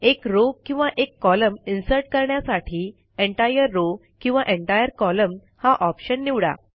एक रो किंवा एक कॉलम इन्सर्ट करण्यासाठी एंटायर रॉव किंवा एंटायर कोलम्न हा ऑप्शन निवडा